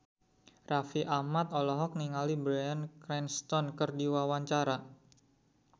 Raffi Ahmad olohok ningali Bryan Cranston keur diwawancara